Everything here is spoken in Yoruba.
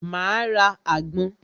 Máa ra àgbon